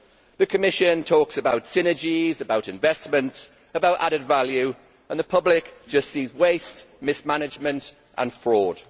The Commission talks about synergies, about investments, about added value, and the public just sees waste, mismanagement and fraud.